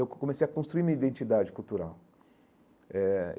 Eu co comecei a construir minha identidade cultural eh.